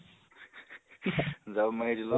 জাপ মাৰি দিলো